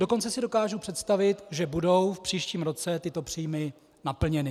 Dokonce si dokážu představit, že budou v příštím roce tyto příjmy naplněny.